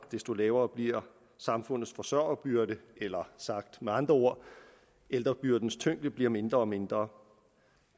desto lavere bliver samfundets forsørgerbyrde eller sagt med andre ord ældrebyrdens tyngde bliver mindre og mindre